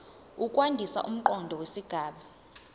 ukwandisa umqondo wesigaba